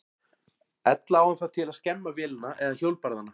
Er ekki hugsanlegt að almenningur geri uppsteyt og bylti þessu kerfi?